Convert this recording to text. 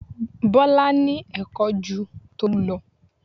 Bọlá ní Ẹ̀kọ́ ju Tolu lọ